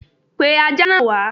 Pe Ajá náà wá!